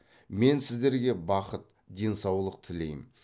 мен сіздерге бақыт денсаулық тілеймін